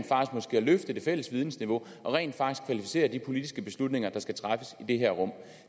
løfte det fælles vidensniveau og rent faktisk kvalificere de politiske beslutninger der skal træffes i det her rum